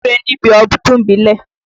Wúre níbi ọdún ìbílẹ̀!